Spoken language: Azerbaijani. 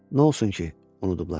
Nə olsun ki, unudublar?